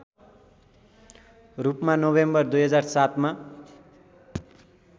रूपमा नोभेम्बर २००७ मा